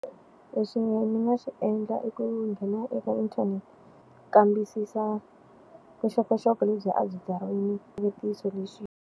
Leswinene ni nga xi endla i ku nghena eka inthanete, kambisisa vuxokoxoko lebyi a byi swivutiso leswi.